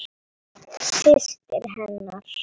Systir hennar?